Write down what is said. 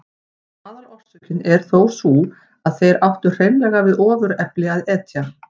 Aðalorsökin er þó sú að þeir áttu hreinlega við ofurefli að etja.